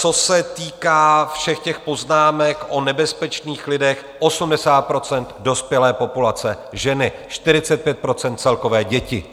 Co se týká všech těch poznámek o nebezpečných lidech, 80 % dospělé populace ženy, 45 % celkové děti.